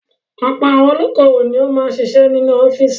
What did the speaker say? Ọ̀pọ̀ àwọn olókòwò ni ó máa ń ṣiṣẹ́ nínú office.